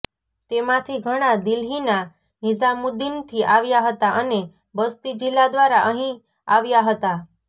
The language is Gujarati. તેમાંથી ઘણા દિલ્હીના નિઝામુદ્દીનથી આવ્યા હતા અને બસ્તી જિલ્લા દ્વારા અહીં આવ્યા હતા